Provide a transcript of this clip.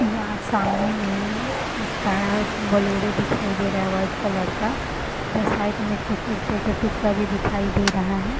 यहाँ सामने में कार बलोरे दिखाई दे रहा है वाइट कलर का इधर साइड में कुछ ईटें का टुकड़ा भी दिखाई दे रहा है।